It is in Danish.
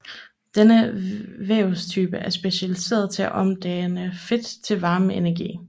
Denne vævstype er specialiseret til at omdanne fedt til varmeenergi